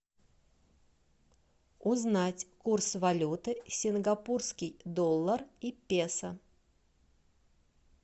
узнать курс валюты сингапурский доллар и песо